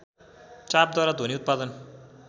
चापद्वारा ध्वनि उत्पादन